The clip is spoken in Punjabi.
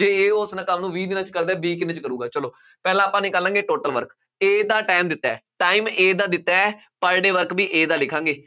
ਜੇ A ਉਸ ਕੰਮ ਨੂੰ ਵੀਹ ਦਿਨਾਂ ਚ ਕਰਦਾ ਹੈ, B ਕਿੰਨੇ ਚ ਕਰੂਗਾ, ਚੱਲੋਂ ਪਹਿਲਾਂ ਆਪਾਂ ਨਿਕਾਲਾਂਗੇ, total work, A ਦਾ time ਦਿੱਤਾ ਹੈ, time ਦਾ ਦਿੱਤਾ ਹੈ, per day work ਵੀ A ਦਾ ਲਿਖਾਂਗੇ।